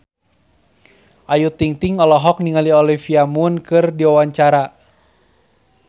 Ayu Ting-ting olohok ningali Olivia Munn keur diwawancara